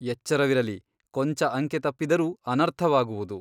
ಎಚ್ಚರವಿರಲಿ ಕೊಂಚ ಅಂಕೆ ತಪ್ಪಿದರೂ ಅನರ್ಥವಾಗುವುದು.